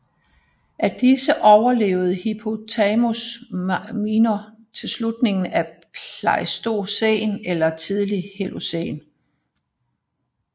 Af disse overlevede Hippopotamus minor indtil slutningen af Pleistocæn eller tidlig Holocæn